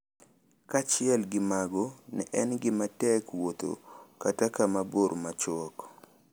Kaachiel gi mago, ne en gima tek wuotho ​​kata kama bor machuok